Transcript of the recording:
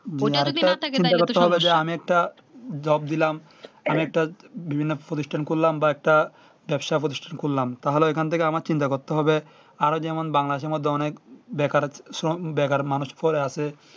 চিন্তা করতে হবে যে আমি একটা jobe দিলাম অনেকটা বিভিন্ন প্রতিষ্ঠান করলাম বা একটা ব্যবসা প্রতিষ্ঠান করলাম তাহলে এখান থেকে আমার চিন্তা করতে হবে আরো যেমন বাংলাদেশের মধ্যে অনেক বেকার শ্রম বেকার মানুষ পড়ে আছে